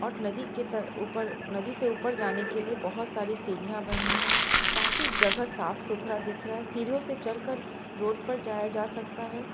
नदी के ऊपर नदी से ऊपर जाने के लिए बहुत सारी सीढ़ियां बनी है काफी जगह साफ सुथरा दिख रहा है सीढ़ीओ से चढ़कर रोड पर जाया जा सकता है।